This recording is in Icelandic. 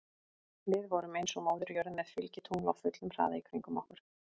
Við vorum eins og Móðir jörð með fylgitungl á fullum hraða í kringum okkur.